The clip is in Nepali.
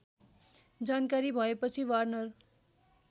जानकारी भएपछि वार्नर